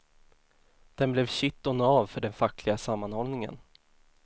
Den blev kitt och nav för den fackliga sammanhållningen.